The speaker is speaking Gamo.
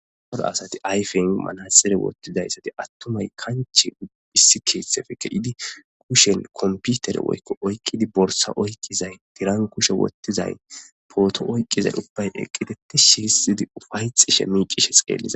Horo asati ayfin manasere wottidayssati attumay kanchi phisi keeththefekke idi kushen komputer woykko oykqidi borsa oykqizay diran kushe wottizay pooto oyqqizay ubbay eqqiteti shihisidi ufayxi shemi cishes qeelliza